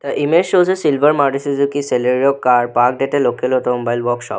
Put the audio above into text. The image shows a silver maruthi suzuki celerio car parked at local automobile workshop.